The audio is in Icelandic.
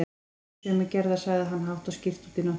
Ég er ekki sömu gerðar, sagði hann hátt og skýrt út í nóttina.